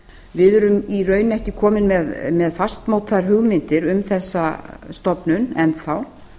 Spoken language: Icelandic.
við erum í raun ekki komin með fastmótaðar hugmyndir um þessa stofnun enn þá